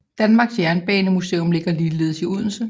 Danmarks Jernbanemuseum ligger ligeledes i Odense